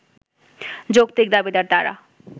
যৌক্তিক দাবিদার তাঁরা